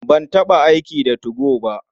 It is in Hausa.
Ban taɓa aiki da 2go ba.